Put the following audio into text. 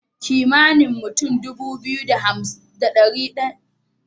Kimanin mutun Dubu biyu da dari daya da hamsin da ne suke da wayar iphone a nigeria